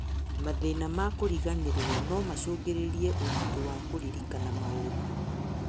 Mathĩna ma kũriganĩrwo nomacũngĩrĩrie ũritũ wa kũririkana maũndũ